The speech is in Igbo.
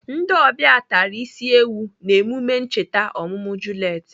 Ndị ọbịa tara isi ewu n'emume ncheta ọmụmụ Juliet.